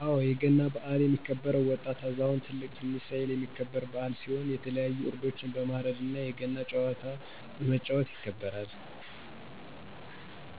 አወ አለ የገና በሀል የሚከበውም ወጣት አዛውንት ትልቅ ትንሽ ሳይባል የሚከበረ በዓል ሲሆን የተለያዩ ዕረዶችን በማርድ እነ የገና ጨዋታ በመጫወት ይከበራል።